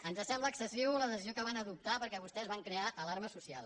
ens sembla excessiva la decisió que van adoptar perquè vostès van crear alarma social